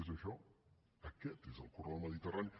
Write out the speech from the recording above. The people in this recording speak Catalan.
és això aquest és el corredor mediterrani